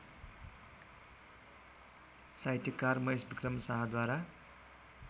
साहित्यकार महेशविक्रम शाहद्वारा